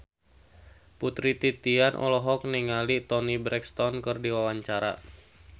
Putri Titian olohok ningali Toni Brexton keur diwawancara